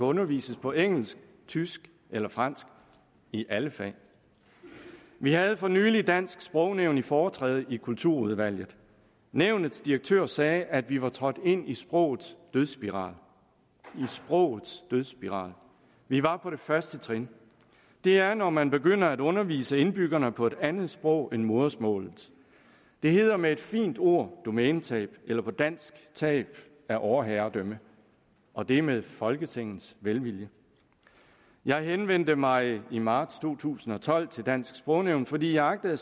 undervises på engelsk tysk eller fransk i alle fag vi havde for nylig dansk sprognævn i foretræde i kulturudvalget nævnets direktør sagde at vi var trådt ind i sprogets dødsspiral i sprogets dødsspiral vi var på det første trin det er når man begynder at undervise indbyggerne på et andet sprog end modersmålet det hedder med et fint ord domænetab eller på dansk tab af overherredømme og det er med folketingets velvilje jeg henvendte mig i marts to tusind og tolv til dansk sprognævn fordi jeg agtede at